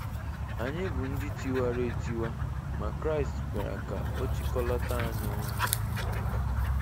Anyị bụ ndị tiwara etiwa, ma Kraịst bịara ka ọ chịkọlata anyị ọnụ